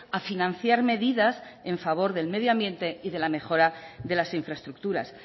a financiar medidas en favor del medio ambiente y de la mejora de las infraestructuras